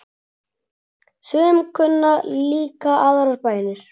Sum kunna líka aðrar bænir.